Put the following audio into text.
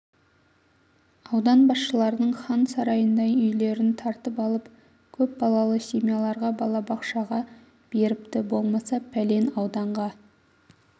аудан басшыларының хан сарайындай үйлерн тартып алып көп балалы семьяларға балабақшаға беріпті болмаса пәлен ауданға